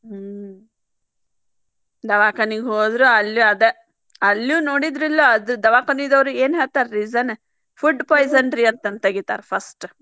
ಹ್ಮ್‌ ದಾವಾಖಾನಿಗೆ ಹೋದ್ರು ಅಲ್ಲೂ ಆದೆ ಅಲ್ಲೂ ನೊಡಿದ್ರಿಲ್ ಅದ್ ದವಾಖಾನಿದವ್ರ ಏನ್ ಹೇಳ್ತಾರ್ reason food poison ಅಂತಂದ್ ತೆಗಿತಾರ first .